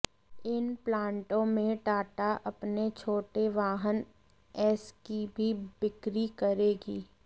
इन प्लांटों में टाटा अपने छोटे वाहन ऐस की भी बिक्री करेगी